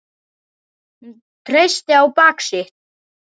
Hún treysti á bak sitt.